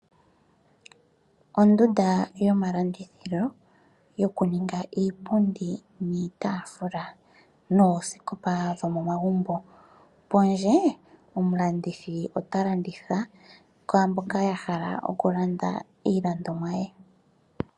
Ondunda yomalandithilo, yoku ninga iipundi niitaafula noosikopa dhomomagumbo. Pondje omulandithi ota landitha kwaamboka ya hala oku landa iilandomwa ye.